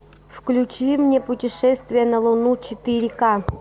включи мне путешествие на луну четыре ка